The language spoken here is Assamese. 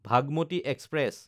ভাগমতী এক্সপ্ৰেছ